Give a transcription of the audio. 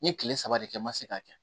N ye kile saba de kɛ n ma se k'a kɛ